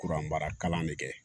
Kuran mara kalan ne kɛ